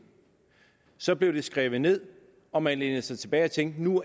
så blev det skrevet ned og man lænede sig tilbage og tænkte at nu